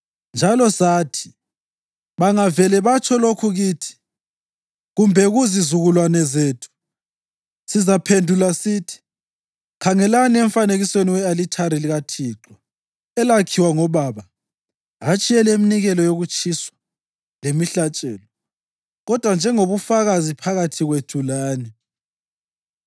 Njalo sathi, ‘Bangavele batsho lokhu kithi kumbe kuzizukulwane zethu, sizaphendula sithi: Khangelani emfanekisweni we-alithari likaThixo, elakhiwa ngobaba, hatshi eleminikelo yokutshiswa lemihlatshelo, kodwa njengobufakazi phakathi kwethu lani.’